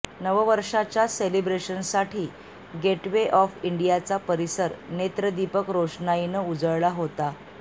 नववर्षाच्या सेलिब्रेशनसाठी gateway of इंडियाचा परिसर नेत्रदीपक रोषणाईनं उजळला होता